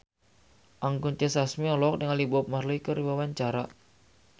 Anggun C. Sasmi olohok ningali Bob Marley keur diwawancara